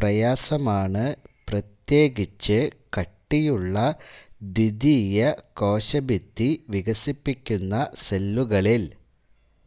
പ്രയാസമാണ് പ്രത്യേകിച്ച് കട്ടിയുള്ള ദ്വിതീയ കോശഭിത്തി വികസിപ്പിക്കുന്ന സെല്ലുകളിൽ